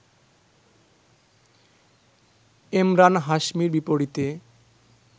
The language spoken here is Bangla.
এমরান হাশমির বিপরীতে